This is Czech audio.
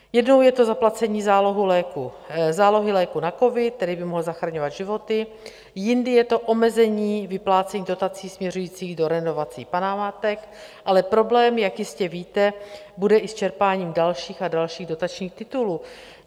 Jednou je to zaplacení zálohy léku na covid, který by mohl zachraňovat životy, jindy je to omezení vyplácení dotací směřujících do renovací památek, ale problém, jak jistě víte, bude i s čerpáním dalších a dalších dotačních titulů.